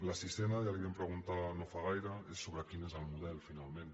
la sisena ja la hi vam preguntar no fa gaire és sobre quin és el model finalment